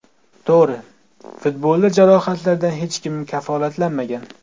To‘g‘ri, futbolda jarohatlardan hech kim kafolatlanmagan.